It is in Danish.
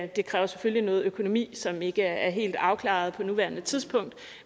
det kræver selvfølgelig noget økonomi som ikke er helt afklaret på nuværende tidspunkt